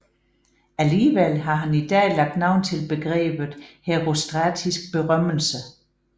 Alligevel har han i dag lagt navn til begrebet herostratisk berømmelse